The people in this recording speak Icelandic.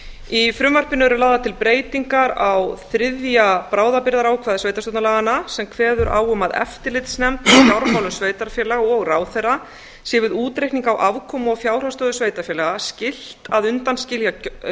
í frumvarpinu eru lagðar til breytingar á þriðja bráðabirgðaákvæði sveitarstjórnarlaganna sem kveður á um að eftirlitsnefnd í fjármálum sveitarfélaga og ráðherra sé við útreikning á afkomu og fjárhagsstöðu sveitarfélaga skylt að undanskilja